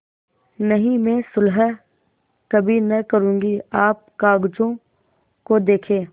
नहीं मैं सुलह कभी न करुँगी आप कागजों को देखें